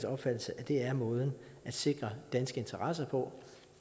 opfattelse at det er måden at sikre danske interesser på